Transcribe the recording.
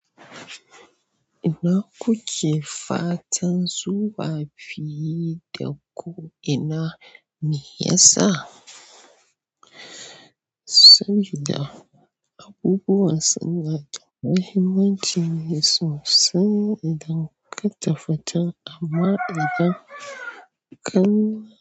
Ina kuke fatan zuwa fiye da ko ina me ya sa? Sabida abubuwa suna da muhimmanci sosai idan ka ta fita amma idan ka.